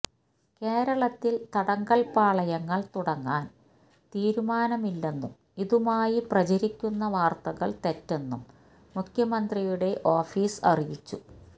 കേരളത്തിൽ തടങ്കൽ പാളയങ്ങൾ തുടങ്ങാൻ തീരുമാനമില്ലെന്നും ഇതുമായി പ്രചരിക്കുന്ന വാർത്തകൾ തെറ്റെന്നും മുഖ്യമന്ത്രിയുടെ ഓഫീസ് അറിയിച്ചു